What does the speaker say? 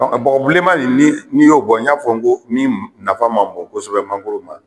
Bɔgɔ bilenma nin n'i y'o bɔ, n y'a fɔ n ko min nafa ma bɔnnkosɛbɛ mangoro ma.